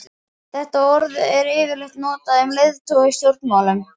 Þetta orð er yfirleitt notað um leiðtoga í stjórnmálum.